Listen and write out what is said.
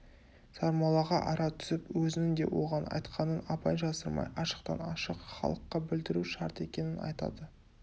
сармоллаға ара түсіп өзінің де оған айтқанын абай жасырмай ашықтан-ашық халыққа білдіру шарт екенін атады